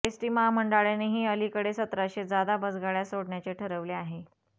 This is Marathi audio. एसटी महामंडळानेही अलीकडे सतराशे जादा बसगाडया सोडण्याचे ठरवले आहे